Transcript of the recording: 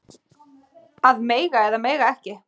Að mega eða mega ekki